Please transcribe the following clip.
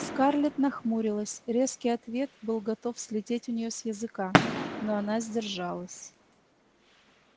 скарлетт нахмурилась резкий ответ был готов слететь у неё с языка но она сдержалась